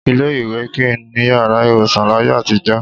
Ilé-ìwé kì í ní yàrá ìwòsàn láyé àtijọ́